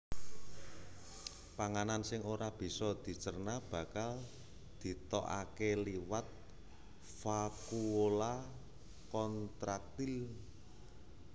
Panganan sing ora bisa dicerna bakal ditokaké liwat vakuola kontraktil